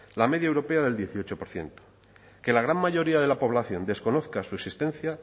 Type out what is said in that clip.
la media europea del dieciocho por ciento que la gran mayoría de la población desconozca su existencia